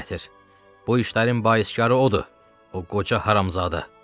Bu işlərin baiskarı odur, o qoca haramzadə!